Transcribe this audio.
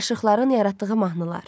Aşıqların yaratdığı mahnılar.